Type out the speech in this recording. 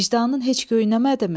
Vicdanın heç göynəmədimi?